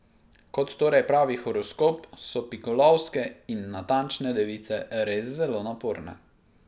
Kot torej pravi horoskop, so pikolovske in natančne device res zelo naporne.